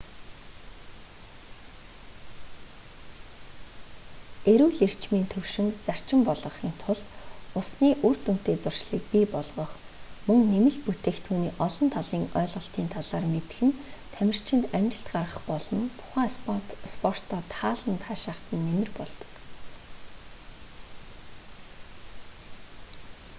эрүүл эрчмийн төвшинг зарчим болгохын тулд усны үр дүнтэй зуршилийг бий болгох мөн нэмэлт бүтээгдхүүний олон талын ойлголтын талаар мэдэх нь тамирчинд амжилт гаргах болон тухайн спортоо таалан таашахад нь нэмэр болдог